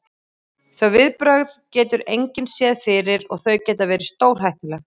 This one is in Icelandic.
Þau viðbrögð getur engin séð fyrir og þau geta verið stórhættuleg.